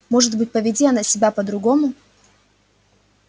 может быть поведи она себя по-другому